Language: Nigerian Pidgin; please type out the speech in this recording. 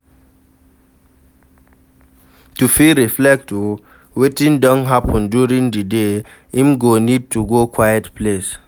To fit reflect o wetin don happen during di day, im go need to go quiet place